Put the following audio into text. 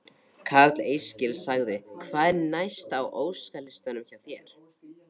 Karl Eskil: Hvað er næst á óskalistanum hjá þér?